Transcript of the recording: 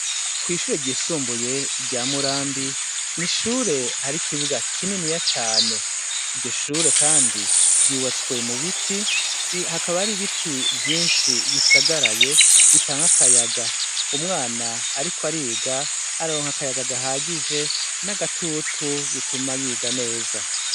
Kwishure ryisumbuye rya Murambi ni ishure hari ikibuga kininiya cane iryo shure kandi ryubatse mubiti hakaba hari ibiti vyinshi hisagaraye bitanga akayaga umwana Ariko ariga araronka akayaga gahagije nagitutu bituma yiga neza.